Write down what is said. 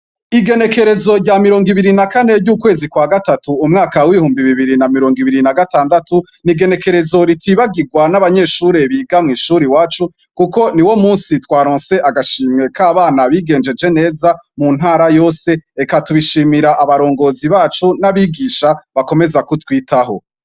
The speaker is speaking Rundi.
Igenekerezo rya mirongo ibiri na kane ry'ukwezi kwa gatatu umwaka w'ihumbi bibiri na mirongo ibiri na gatandatu ni igenekerezo ritibagirwa n'abanyeshuri biga mw'ishuri wacu, kuko ni wo musi twaronsey agashimwe k'abana bigenjeje neza mu ntara yose eka tubishimira abarongozi bacu n'abigisha bakomeza kutwita.